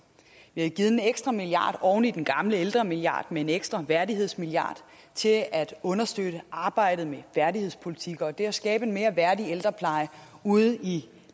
vi har givet en ekstra milliard oven i den gamle ældremilliard med en ekstra værdighedsmilliard til at understøtte arbejdet med værdighedspolitik og det at skabe en mere værdig ældrepleje ude i